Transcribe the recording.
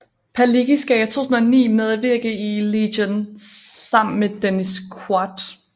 Palicki skal i 2009 medvirke i Legion sammen med Dennis Quaid